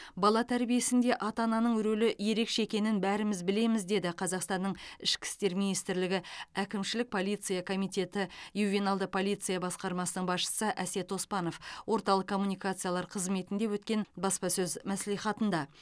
бала тәрбиесінде ата ананың рөлі ерекше екенін бәріміз білеміз деді қазақстанның ішкі істер министрлігі әкімшілік полиция комитеті ювеналды полиция басқармасының басшысы әсет оспанов орталық коммуникациялар қызметінде өткен баспасөз мәслихатында